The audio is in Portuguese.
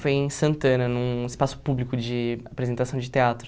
Foi em Santana, num espaço público de apresentação de teatro.